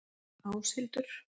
Áshildur